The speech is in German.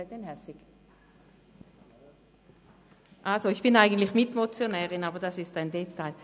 Ich bin eigentlich Mitmotionärin, aber dies ist ein Detail.